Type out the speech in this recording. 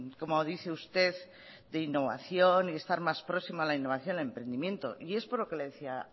como dice usted de innovación y de estar más próximo a la innovación el emprendimiento y es por lo que le decía